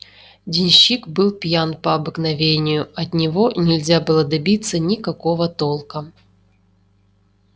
денщик был пьян по обыкновению от него нельзя было добиться никакого толка